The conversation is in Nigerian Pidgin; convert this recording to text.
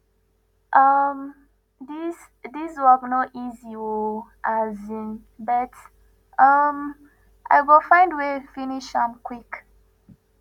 um dis dis work no easy o um but um i go find way finish am quick